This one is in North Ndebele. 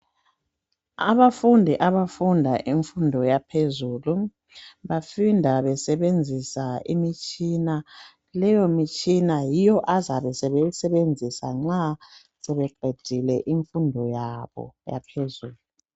Abafundi abafunda imfundo yaphezulu, bafunda besebenzisa imtshina leyo mitshina yiyo azabe sebeyisebenzisa nxa sebeqedile imfundo yabo yaphezulu.